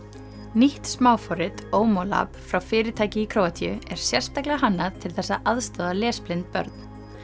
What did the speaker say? nýtt smáforrit frá fyrirtæki í Króatíu er sérstaklega hannað til þess að aðstoða lesblind börn